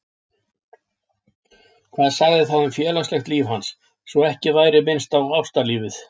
Hvað sagði það um félagslegt líf hans, svo ekki væri minnst á ástalífið?